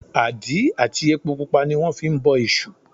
Àdí àti epo pupa ní wọ́n fi ń bọ èṣù